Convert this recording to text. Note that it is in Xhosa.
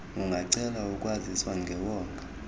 ungacela ukwaziswa ngewonga